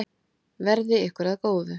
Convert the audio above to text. Verði ykkur að góðu.